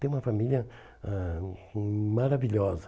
Tenho uma família ãh maravilhosa.